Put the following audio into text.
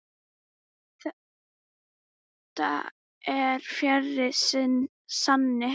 Þetta er fjarri sanni.